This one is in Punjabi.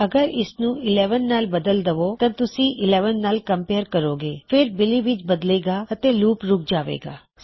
ਅਗਰ ਤੁਸੀਂ ਇਸਨੂੰ 11 ਨਾਲ ਬਦਲ ਦਵੋਂ ਤਾਂ ਤੁਸੀਂ ਉਸ 11 ਨਾਲ ਕਮਪੇਯਰ ਕਰੋਂਗੇ ਫਿਰ ਇਹ ਬਿਲੀ ਵਿੱਚ ਬਦਲੇ ਗਾ ਅਤੇ ਲੂਪ ਰੁਕ ਜਾਵੇ ਗਾ